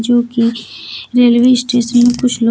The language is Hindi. जो की रेलवे स्टेशन में कुछ लोग--